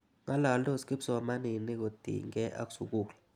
Ng'alaldos kipsomaninik kotinykei ak sukul.